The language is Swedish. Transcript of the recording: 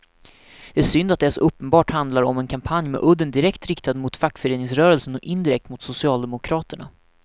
Det är synd att det så uppenbart handlar om en kampanj med udden direkt riktad mot fackföreningsrörelsen och indirekt mot socialdemokraterna.